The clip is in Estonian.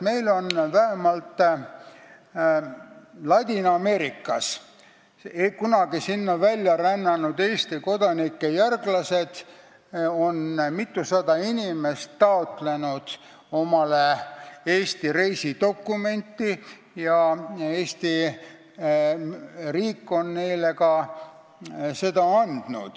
Vähemalt Ladina-Ameerikas on kunagi sinna välja rännanud Eesti kodanike järglased ning mitusada inimest on omale taotlenud Eesti reisidokumenti ja Eesti riik on selle neile ka andnud.